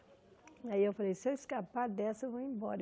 Aí eu falei, se eu escapar dessa eu vou embora.